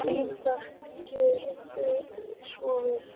Ritari Gjörðu svo vel.